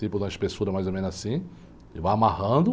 Tipo, da espessura mais ou menos assim, e vai amarrando.